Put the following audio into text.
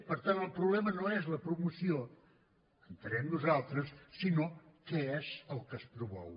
per tant el problema no és la promoció entenem nosaltres sinó què és el que es promou